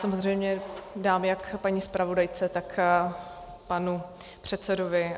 Samozřejmě dám jak paní zpravodajce, tak panu předsedovi.